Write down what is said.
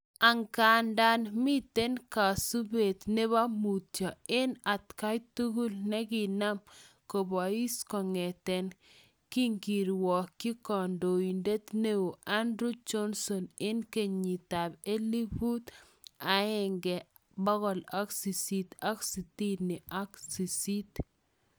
Angadan miten kosupet nebo mutyo en atgai tugul nikinam kobois kong'eten kingirwokyi kandoinet neo Andrew Johnson en kenyitab elfut aenge bokol sisit ak sitini ak sist